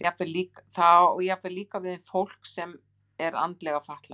Það á jafnvel líka við um fólk sem er andlega fatlað.